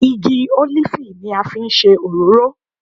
Igi ólífì ni a fi ń ṣe òróró